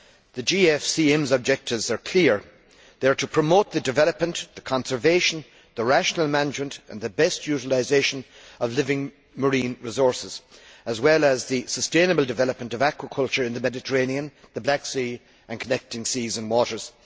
The GFCM's objectives are clear they are to promote the development, the conservation, the rational management and the best utilisation of living marine resources as well as the sustainable development of aquaculture in the Mediterranean, the Black Sea and connecting seas and waters.